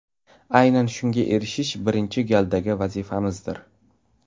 Aynan shunga erishish birinchi galdagi vazifamizdir.